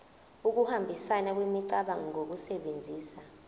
ukuhambisana kwemicabango ngokusebenzisa